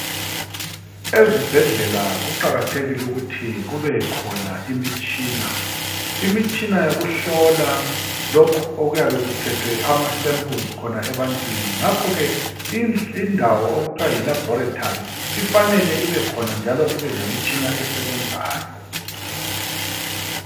Ezibhedlela kuqakathekile ukuthi kubekhona imitshina. Imitshina yokuhlola lokhu okuyabe kuthethwe khona ama samples ebantwini. Ngakhoke indawo okuthiwa yi laboratory ifanele ibekhona njalo ibe lemitshina esebenzayo.